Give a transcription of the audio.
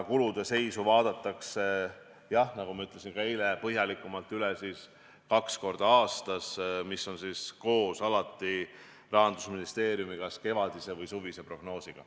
Kulude seisu vaadatakse põhjalikumalt üle, jah, nagu ma ka eile ütlesin, kaks korda aastas – see on alati koos Rahandusministeeriumi kevadise või suvise prognoosiga.